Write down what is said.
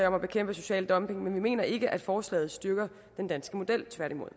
om at bekæmpe social dumping men vi mener ikke at forslaget styrker den danske model tværtimod